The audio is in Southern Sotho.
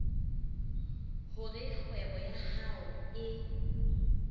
hore kgwebo ya hao e